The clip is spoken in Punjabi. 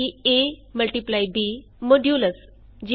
Guna multiplication multiplication easy